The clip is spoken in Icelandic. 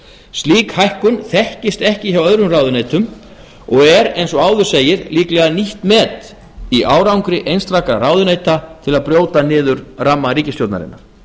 slík hækkun þekkist ekki hjá öðrum ráðuneytum og er eins og áður segir líklega nýtt met í árangri einstakra ráðuneyta til að brjóta niður ramma ríkisstjórnarinnar